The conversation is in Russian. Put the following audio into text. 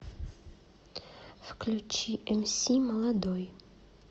включи эмси молодой